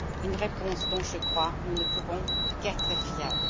Une réponse dont, je crois, nous ne pouvons qu'être fiers.